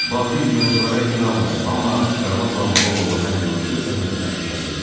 "Batil inanclara inanmıram, amma qarmaqla balıq ovu həm yorucu, həm də təhlükəli idi."